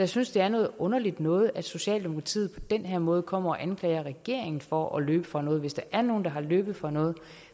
synes det er noget underligt noget at socialdemokratiet den her måde kommer og anklager regeringen for at løbe fra noget hvis der er nogen der har løbet fra noget